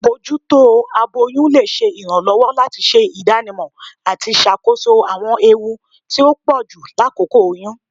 Abojuto aboyun le ṣe iranlọwọ lati ṣe idanimọ ati ṣakoso awọn ewu ti o pọju lakoko oyun.